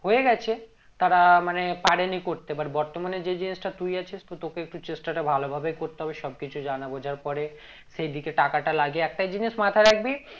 হয়ে গেছে তারা মানে পারেনি করতে এবার বর্তমানে যেই জিনিসটা তুই আছিস তো তোকে একটু চেষ্টাটা ভালো ভাবে করতে হবে সব কিছুই জানা বোঝার পরে সেই দিকে টাকাটা লাগিয়ে একটাই জিনিস মাথায় রাখবি